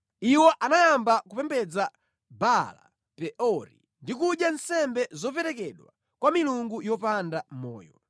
Iwo anayamba kupembedza Baala-Peori ndi kudya nsembe zoperekedwa kwa milungu yopanda moyo;